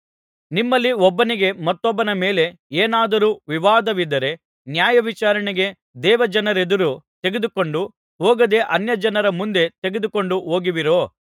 ನಿಮ್ಮಲ್ಲಿ ಒಬ್ಬನಿಗೆ ಮತ್ತೊಬ್ಬನ ಮೇಲೆ ಏನಾದರೂ ವಿವಾದವಿದ್ದರೆ ನ್ಯಾಯವಿಚಾರಣೆಗೆ ದೇವಜನರೆದುರು ತೆಗೆದುಕೊಂಡು ಹೋಗದೇ ಅನ್ಯಜನರ ಮುಂದೆ ತೆಗೆದುಕೊಂಡು ಹೋಗುವಿರೋ